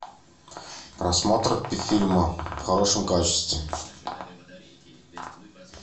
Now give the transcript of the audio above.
просмотр фильма в хорошем качестве